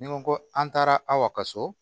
Ni n ko ko an taara aw ka so